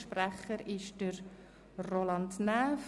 Für die BiK spricht Grossrat Roland Näf.